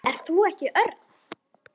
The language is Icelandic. Ert þú ekki Örn?